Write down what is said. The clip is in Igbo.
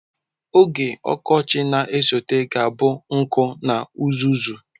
Oge ọkọchị na-esote ga-abụ nkụ na uzuzu.